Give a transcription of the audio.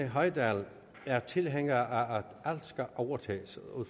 hoydal er tilhænger af at alt skal overtages at